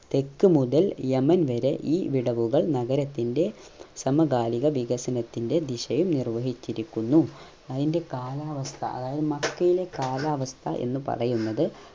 തെക്ക് മുതൽ യമൻ വരെ ഈ വിടവുകൾ നഗരത്തിന്റെ സമകാലിക വികസനത്തിന്റെ ദിശയിൽ നിർവഹിച്ചിരിക്കുന്നു അയിന്റെ കാലാവസ്ഥ അതായത് മക്കയിലെ കാലാവസ്ഥ എന്ന് പറയുന്നത്